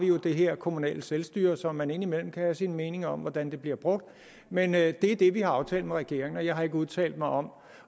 jo det her kommunale selvstyre som man indimellem kan have sine meninger om hvordan bliver brugt men det er det vi har aftalt med regeringen og jeg har ikke udtalt mig om